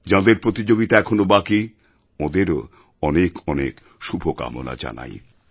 যাঁদের প্রতিযোগিতা এখনও বাকি ওঁদেরওঅনেক অনেক শুভকামনা জানাই